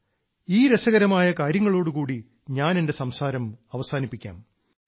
ഇന്ന് എന്റെ മനസ്സിൽ വരുന്ന ചിന്ത എന്തെന്നാൽ ഈ രസകരമായ കാര്യങ്ങളോടു കൂടി ഞാൻ എന്റെ സംസാരം അവസാനിപ്പിക്കാം